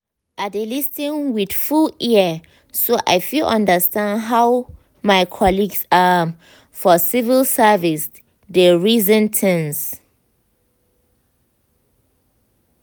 i dey lis ten with full ear so i fit understand how my colleagues um for civil service dey reason things.